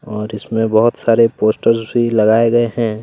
और इसमें बहुत सारे पोस्टर्स भी लगाए गए हैं।